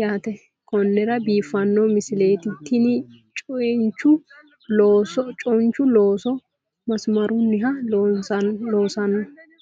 yaate konnira biiffanno misileeti tini chiyinchu looso massaarunniha loosanno